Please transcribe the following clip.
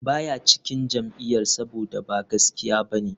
Ba ya cikin jam'iyyar saboda ba gaskiya ba ne,